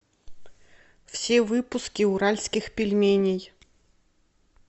все выпуски уральских пельменей